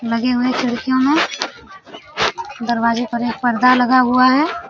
लगे हुए खिड़कियों में दरवाजे पर एक पर्दा लगा हुआ है ।